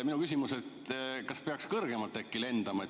Minu küsimus on, et kas peaks äkki kõrgemalt lendama.